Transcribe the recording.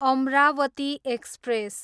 Amravati express